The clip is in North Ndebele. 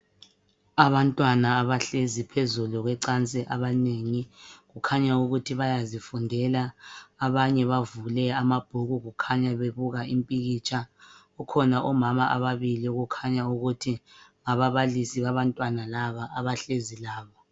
Abantwana abahlezi phezulu kwecansi abanengi kukhanya ukuthi bayazifundela abanye bavule amabhuku kukhanya bebuka impikitsha kukhona omama ababili kukhanya ngababalisi babantwana laba